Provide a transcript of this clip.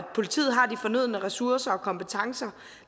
politiet har de fornødne ressourcer og kompetencer